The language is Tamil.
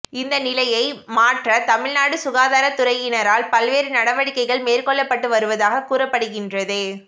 இந்த நிலையை மாற்ற தமிழ்நாடு சுகாதாரத்துறையினறால் பல்வேறு நடவடிக்கைகள் மேற்கொள்ளப்பட்டு வருவதாக கூறப்படுகின்றது